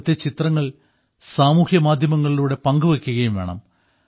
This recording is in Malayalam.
അവിടത്തെ ചിത്രങ്ങൾ സാമൂഹ്യ മാധ്യമങ്ങളിലൂടെ പങ്കുവെയ്ക്കുകയും വേണം